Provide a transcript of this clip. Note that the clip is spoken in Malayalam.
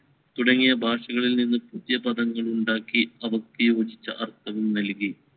തുടങ്ങിയ ഭാഷകളിൽ നിന്ന് പുതിയ പദങ്ങൾ ഉണ്ടാക്കി അവർക്ക് യോജിച്ച അർത്ഥങ്ങൾ നൽകി.